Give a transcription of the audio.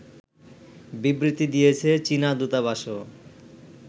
বিবৃতি দিয়েছে চীনা দূতাবাসও